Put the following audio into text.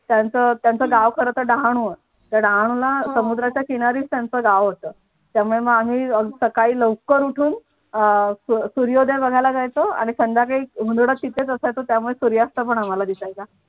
त्यांच त्यांच गाव खरंतर डहाणू आहे तर डहाणूला समुद्राच्या किनारीच त्यांचं गाव होतं त्यामुळे मग आम्ही सकाळी लवकर उठून अह सूर्यो सूर्योदय बघायला जायचं आणि संध्याकाळी उंडत तिकडेच असायचं सूर्यास्त हे आम्हाला दिसायचा.